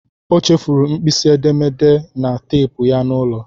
O chefuru mkpịsị edemede na teepu ya n'ụlọ.